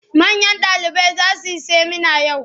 Manyan ɗalibai za su yi semina yau.